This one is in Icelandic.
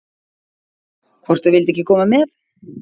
Hvort þau vildu ekki koma með?